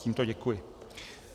Tímto děkuji.